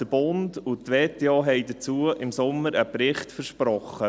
Der Bund und die WHO haben dazu im Sommer einen Bericht versprochen.